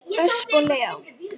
Ösp og Leó.